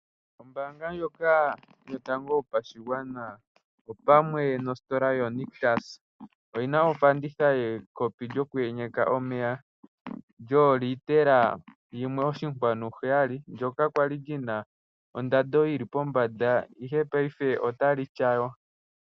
Ombaanga ndjoka yotango yopashigwana opamwe nositola yoNictus oyina ofanditha yekopi lyoku enyeka omeya lyoolitela yimwe oshinkwanu heyali ndjoka, ndjoka kwali lina ondando yili pombanda ashike paife olili kofanditha.